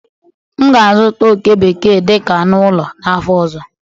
M ga-azụta oke bekee dị ka anụ ụlọ n'afọ ọzọ.